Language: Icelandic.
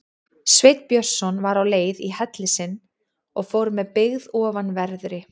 Sveinn Björnsson var á leið í helli sinn og fór með byggð ofanverðri.